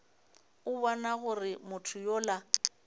a bona gore motho yola